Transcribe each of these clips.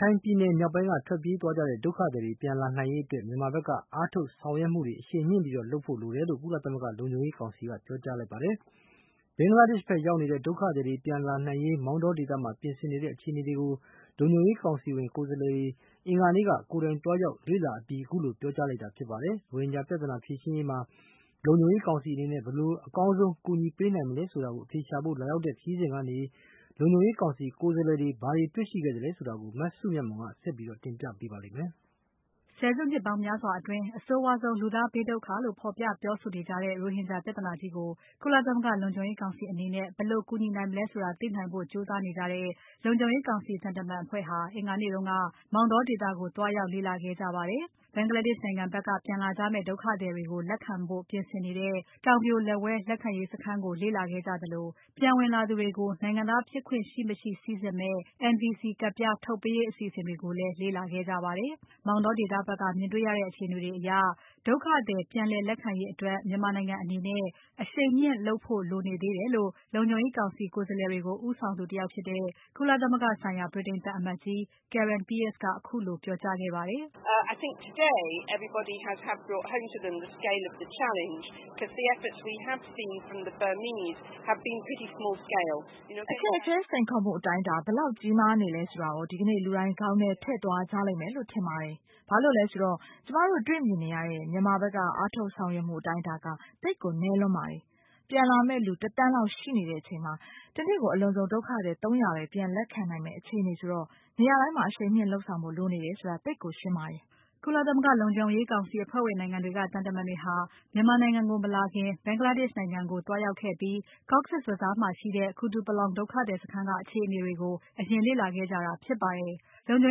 ခိုင်ပြည်နယ်မြောက်ပိုင်းက ထွက်ပြေးသွားတဲ့ဒုက္ခသည်တွေ ပြန်လာနိုင်ရေးအတွက် မြန်မာဖက်ကအားထုတ်ဆောင်ရွက်မှုတွေ အရှိန်မြှင့်လုပ်ဖို့ လိုတယ်လို့ ကုလသမဂ္ဂလုံခြုံရေးကောင်စီက ပြောကြားလိုက်ပါတယ်။ ဘင်္ဂလားဒေ့ရှ် ဖက်ရောက်နေတဲ့ ဒုက္ခသည်တွေ ပြန်လာနိုင်ရေး မောတောဒေသမှာ ပြင်ဆင်နေတဲ့ အခြေအနေတွေကို လုံခြုံရေးကောင်စီဝင်ကိုယ်စားလှယ်တွေ အင်္ဂါနေ့က ကိုယ်တိုင်သွားရောက်လေ့လာအပြီးမှာ ခုလို ပြောကြားခဲ့တာဖြစ်ပါတယ်။ ရိုဟင်ဂျာပြဿနာဖြေရှင်းရေးမှာ လုံခြုံရေးကောင်စီအနေနဲ့ ဘယ်လိုအကောင်းဆုံး အကူအညီပေးနိုင်မလဲဆိုတာ အဖြေရှာဖို့ လာရောက်တဲ့ခရီးစဉ်ကနေ လုံခြုံရေးကောင်စီကိုယ်စားလှယ်တွေ ဘာတွေ တွေ့ရှိခဲ့သလဲဆိုတာကို မစုမြတ်မွန်က ဆက်ပြီး တင်ပြပါမယ်။ ဆယ်စုနှစ်ပေါင်းများစွာအတွင်း အဆိုးဝါးဆုံး လူသားဘေးဒုက္ခလို့ ဖော်ပြပြောဆိုနေကြတဲ့ ရိုဟင်ဂျာပြဿနာကြီးကို ကုလသမဂ္ဂလုံခြုံရေးကောင်စီအနေနဲ့ ဘယ်လိုကူညီနိုင်မလဲဆိုတာ သိနိုင်ဖို့ကြိုးစားနေကြတဲ့ လုံခြုံရေးကောင်စီသံတမန်အဖွဲ့ဟာ အင်္ဂါနေ့က မောင်တောဒေသကို သွားရောက် လေ့လာခဲ့ကြပါတယ်။ Bangladesh နိုင်ငံဖက်က ပြန်လာကြမယ့် ဒုက္ခသည်တွေကို လက်ခံဖို့ ပြင်ဆင်နေတဲ့ တောင်ပြိုလက်ဝဲ လက်ခံရေးစခန်းကို လေ့လာခဲ့ကြသလို။ ပြန်ဝင်လာသူတွေကို နိုင်ငံသားဖြစ်ခွင့်ရှိမရှိစိစစ်မယ့် NVC ကဒ်ပြား ထုတ်ပေးရေး အစီအစဉ်တွေကိုလည်း လေ့လာခဲ့ကြပါတယ်။ မောင်တောဒေသဖက်က မြင်တေ့ွရတဲ့အခြေအနေတွေအရ ဒုက္ခသည်ပြည်လည်ခံရေးအတွက် မြန်မာနိုင်ငံအနေနဲ့ အရှိန်မြှင့်လုပ်ဖို့ လိုနေသေးတယ်လို့ လုံခြုံရေးကောင်စီကိုယ်စားလှယ်တွေကို ဦးဆောင်သူတယောက်ဖြစ်တဲ့ ကုလသမဂ္ဂဆိုင်ရာ ဗြိတိန်သံအမတ်ကြီး Karen Pierce ကခုလို ပြောကြားခဲ့ပါတယ်။ "အခက်အခဲ စိန်ခေါ်မှုအတိုင်းအတာ ဘယ်လောက်ကြီးမားနေသလဲဆိုတာကို ဒီကနေ့ လူတိုင်း ခေါင်းထဲထည့်သွားကြလိမ့်မယ်လို့ ထင်ပါတယ်။ ဘာလို့လဲဆိုတော့ ကျွန်မတို့တေ့ွမြင်ရတဲ့ မြန်မာဖက်က အားထုတ်ဆောင်ရွက်မှုအတိုင်းအတာက သိပ်ကို နည်းလွန်းပါတယ်။ ပြန်လာမယ့် လူ ၁ သန်းလောက် ရှိနေချိန်မှာ တနေ့ကို အလွန်ဆုံး ဒုက္ခသည် ၃၀၀ ပဲပြန်လက်ခံနိုင်မယ့် အခြေအနေဆိုတော့ နေရာတိုင်းမှာ အရှိန်မြှင့်လုပ်ဖို့ လိုနေတယ်ဆိုတာ သိပ်ကိုရှင်းပါတယ်။" ကုလသမဂ္ဂ လုံခြုံရေးကောင်စီ အဖွဲ့ဝင်နိုင်ငံတွေက သံတမန်တွေဟာ မြန်မာနိုင်ငံကို မလာခင် Bangladesh နိုင်ငံကိုသွားရောက်ခဲ့ပြီး Cox’s Bazar မှာရှိတဲ့ Kutupalong ဒုက္ခသည်စခန်းက အခြေအနေတွေကို အရင်လေ့လာခဲ့ကြတာဖြစ်ပါတယ်။ လုံခြုံ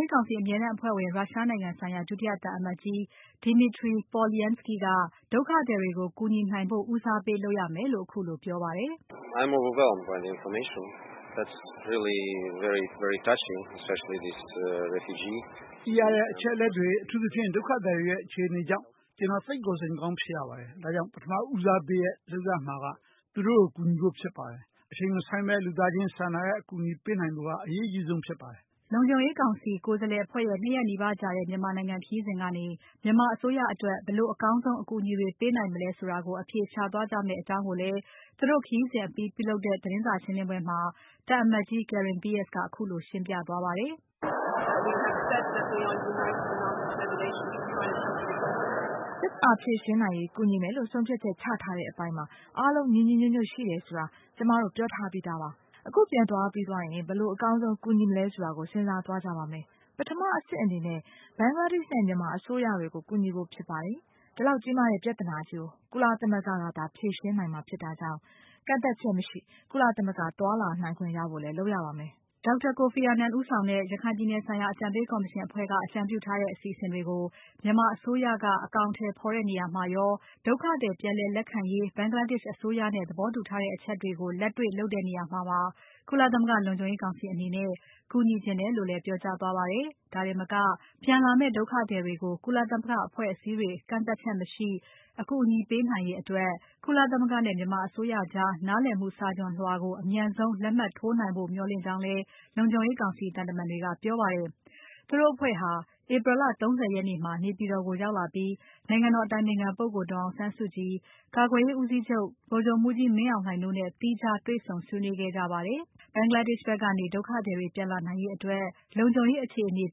ရေးကောင်စီအမြဲတမ်းအဖွဲ့ဝင် ရုရှားနိုင်ငံဆိုင်ရာ ဒုတိယသံအမတ်ကြီး Dmitry Polyanskiy က ဒုက္ခသည်တွေကို ကူညီနိုင်ဖို့ ဦးစားပေးလုပ်ရမယ်လို့ ခုလို ပြောပါတယ်။ "သိရတဲ့အချက်အလက်တွေ။ အထူးသဖြင့် ဒုက္ခသည်တွေရဲ့ အခြေအနေကြောင့် ကျွန်တော်သိပ်ကို စိတ်မကောင်းဖြစ်ရပါတယ်။ ဒါကြောင့် ပထမဦးစားပေးလုပ်ရမှာက သူတို့ကို ကူညီဖို့ဖြစ်ပါတယ်။ အချိန်မဆိုင်းဘဲ လူသားချင်းစာနာတဲ့အကူအညီပေးနိုင်ဖို့က အရေးအကြီးဆုံးဖြစ်ပါတယ်။" လုံခြုံရေးကောင်စီ ကိုယ်စားလှယ်အဖွဲ့ရဲ့ ၂ ရက်နီးပါးကြာတဲ့ မြန်မာနိုင်ငံခရီးစဉ်ကနေ မြန်မာအစိုးရအတွက် ဘယ်လိုအကောင်းဆုံး အကူအညီတွေ ပေးနိုင်မလဲဆိုတာကို အဖြေရှာသွားကြမယ့်အကြောင်းကိုလည်း သူတို့ခရီးစဉ်အပြီး ပြုလုပ်တဲ့ သတင်းစာရှင်းပွဲမှာ သံအမတ်ကြီး Karen Pierce က ခုလို ရှင်းပြသွားပါတယ်။ " ပြဿနာဖြေရှင်နိုင်ရေး ကူညီမယ်လို့ ဆုံးဖြတ်ချက်ချထားတဲ့အပိုင်းမှာ အားလုံးညီညီညွတ်ညွတ်ရှိတယ်ဆိုတာ ကျွန်မတု့ိ ပြောထားပြီးသားပါ။ အခုပြန်သွားပြီးရင် ဘယ်လိုအကောင်းဆုံး ကူညီမလဲဆိုတာကို စဉ်းစားသွားကြပါမယ်။ ပထမအဆင့်အနေနဲ့ Bangladesh နဲ့ မြန်မာအစိုးရတွေကို ကူညီဖို့ဖြစ်ပါတယ်။ ဒီလောက်ကြီးမားတဲ့ပြဿနာကြီးကို ကုလသမဂ္ဂကသာ ဖြေရှင်းနိုင်မှာဖြစ်တာကြောင့် ကန့်သတ်ချက်မရှိ ကုလသမဂ္ဂ သွားလာနိုင်ခွင့်ရဖို့လည်း လုပ်ရပါမယ်။" Dr. Kofi Annan ဦးဆောင်တဲ့ ရခိုင်ပြည်နယ်ဆိုင်ရာ အကြံပေးကော်မရှင်အဖွဲ့က အကြံပြုထားတဲ့ အစီအစဉ်တွေကို မြန်မာအစိုးရက အကောင်အထည်ဖော်တဲ့နေရာမှာရော။ ဒုက္ခသည်ပြည်လည် လက်ခံရေး Bangladesh အစိုးရနဲ့ သဘောတူထားတဲ့အချက်တွေကို လက်တွေ့လုပ်တဲ့နေရာမှာပါ။ ကုလသမဂ္ဂလုံခြုံရေးကောင်စီအနေနဲ့ ကူညီချင်တယ်လို့လည်း ပြောကြားသွားပါတယ်။ ဒါတင်မက ပြန်လာမယ့် ဒုက္ခသည်တွေကို ကုလသမဂ္ဂအဖွဲ့အစည်းတွေ ကန့်သတ်ချက်မရှိ အကူအညီပေးရေးအတွက် မြန်မာအစိုးရကြား နားလည်မှုစာချွန်လွှာကို အမြန်ဆုံး လက်မှတ်ထိုးနိုင်ဖို့ မျှော်လင့်ကြောင်းလည်း လုံခြုံရေးကောင်စီသံတမန်တွေက ပြောပါတယ်။ သူတို့အဖွဲ့ဟာ April လ ၃၀ ရက်နေ့မှာ နေပြည်တော်ကို ရောက်လာပြီး နိုင်ငံတော် အတိုင်ပင်ခံပုဂ္ဂိုလ် ဒေါ်အောင်ဆန်းစုကြည်။ ကာကွယ်ရေးဦးစီးချုပ် ဗိုလ်ချုပ်မှူးကြီးမင်းအောင်လှိုင်တို့နဲ့ သီးခြားတေ့ွဆုံဆွေးနွေးခဲ့ကြပါတယ်။ Bangladesh ဖက်ကနေ ဒုက္ခသည်တွေ ပြန်လာနိုင်ရေးအတွက် လုံခြုံရေးအခြေအနေ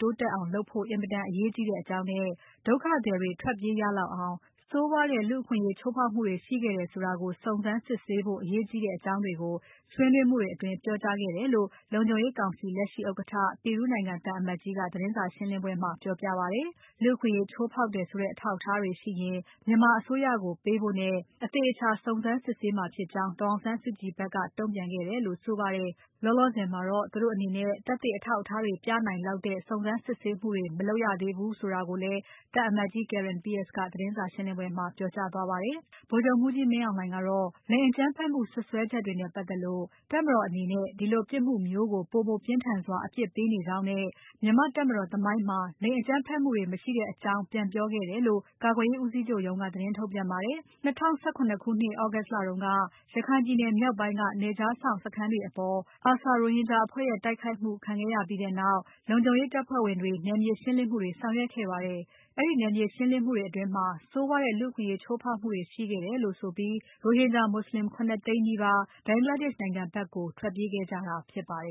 တိုးတက်အောင် လုပ်ဖို့ အင်မတန်အရေးကြီးတဲ့အကြောင်းနဲ့ ဒုက္ခသည်တွေ ထွက်ပြေးရလောက်အောင် ဆိုးဝါးတဲ့လူ့အခွင့်အရေးချိုးဖောက်မှုတွေရှိခဲ့တယ်ဆိုတာကို စုံစမ်းစစ်ဆေးဖို့ အရေးကြီးတဲ့အကြောင်းတွေကို ဆွေးနွေးမှုတွေအတွင်း ပြောကြားခဲ့တယ်လို့ လုံခြုံရေးကောင်စီလက်ရှိဥက္ကဋ္ဌ Peru နိုင်ငံ သံအမတ်ကြီးက သတင်းစာရှင်းပွဲမှာ ပြောပြပါတယ်။ လူ့အခွင့်အရေးချိုးဖောက်တယ်ဆိုတဲ့ အထောက်အထားတွေရှိရင် မြန်မာအစိုးရကိုပေးဖို့နဲ့ အသေအချာ စုံစမ်းစစ်ဆေးမှာဖြစ်ကြောင်း ဒေါ်အောင်ဆန်းစုကြည်ဖက်က တုံ့ပြန်ခဲ့တယ်လို့ ဆိုပါတယ်။ လောလောဆယ်မှာတော့ သူတို့အနေနဲ့ သက်သေအထောက်အထားတွေ ပြနိုင်လောက်တဲ့ စုံစမ်းစစ်ဆေးမှုတွေ မလုပ်ရသေးဘူးဆိုတာကိုလည်း သံအမတ်ကြီး Karen Pierce က သတင်းစာရှင်းပွဲမှာ ပြောကြားသွားခဲ့ပါတယ်။ ဗိုလ်ချုပ်မှူးကြီးမင်းအောင်လှိုင်ကတော့ လိင်အကြမ်းဖက်မှု စွပ်စွဲချက်တွေနဲ့ပါတ်သက်လို့ တပ်မတော်အနေနဲ့ ဒီလိုပြစ်မှုမျိုးကို ပိုမိုပြင်းထန်စွာ အပြစ်ပေးနေကြောင်းနဲ့။ မြန်မာ့တပ်မတော် သမိုင်းကြောင်းမှာ လိင်အကြမ်းဖက်မှုတွေ မရှိတဲ့အကြောင်းတွေ ပြန်ပြောခဲ့တယ်လို့ ကာကွယ်ရေးဦးစီးချုပ်ရုံးက သတင်းထုတ်ပြန်ပါတယ်။ ၂၀၁၇ ခုနှစ် August လတုန်းက ရခိုင်ပြည်နယ်မြောက်ပိုင်းက နယ်ခြားစောင့်စခန်းတွေအပေါ် ARSA ရိုဟင်ဂျာ အကြမ်းဖက်အဖွဲ့ရဲ့ တိုက်ခိုက်မှု ခံရပြီးနောက် လုံခြုံရေးတပ်ဖွဲ့ဝင်တွေ နယ်မြေရှင်းလင်းမှုတွေ ဆောင်ရွက်ခဲ့ပါတယ်။ အဲဒီနယ်မြေရှင်းလင်းမှုတွေအတွင်း ဆိုးဝါးတဲ့လူ့အခွင့်အရေးချိုးဖောက်မှုတွေရှိခဲ့တယ်လို့ဆိုပြီး ရိုဟင်ဂျာမွတ်ဆလင် ၇ သိန်းနီးပါး Bangladesh နိုင်ငံဖက်ကို ထွက်ပြေးခဲ့ကြတာဖြစ်ပါတယ်